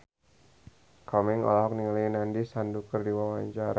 Komeng olohok ningali Nandish Sandhu keur diwawancara